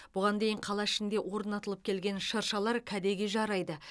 бұған дейін қала ішінде орнатылып келген шырлар кәдеге жарайды